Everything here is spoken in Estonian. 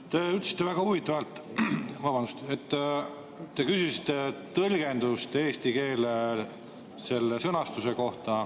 Te ütlesite väga huvitavalt, et te küsisite tõlgendust eesti keele sõnastuse kohta.